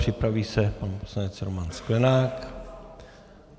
Připraví se pan poslanec Roman Sklenák.